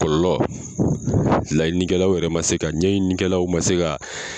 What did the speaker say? Kɔlɔlɔ laɲini kɛlaw yɛrɛ man se ka ɲɛɲi kɛlaw man se ka